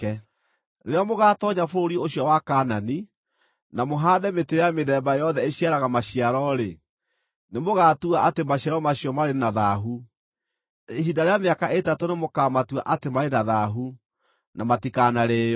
“ ‘Rĩrĩa mũgaatoonya bũrũri ũcio wa Kaanani, na mũhaande mĩtĩ ya mĩthemba yothe ĩciaraga maciaro-rĩ, nĩ mũgaatua atĩ maciaro macio marĩ na thaahu. Ihinda rĩa mĩaka ĩtatũ nĩmũkamatua atĩ marĩ na thaahu, na matikanarĩĩo.